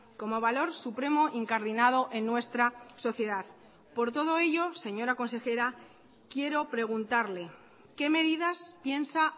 como valor supremo incardinado en nuestra sociedad por todo ello señora consejera quiero preguntarle qué medidas piensa